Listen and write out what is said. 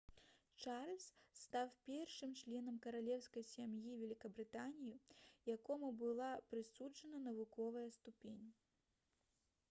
чарльз стаў першым членам каралеўскай сям'і вялікабрытаніі якому была прысуджана навуковая ступень